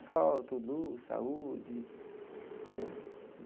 Asfalto, luz, saúde, né?